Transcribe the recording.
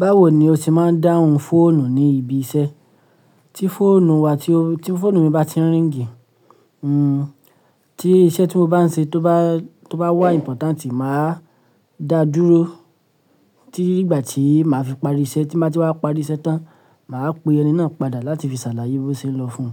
Báwo ni o ti máa ń dáhùn fóònù ní ibi iṣẹ́? Tí fóònù mi bá ti n ríng, tí iṣẹ́ tí mo bá ń ṣe tó bá wà important, màá dáa dúró, titi di igbà tí màá fi parí iṣẹ́, tí mo bá ti wá parí iṣẹ́ tán, màá pe ẹni náà padà láti fi ṣàlàyé bó ṣe n lọ fún un.